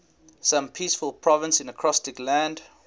some peaceful province in acrostic land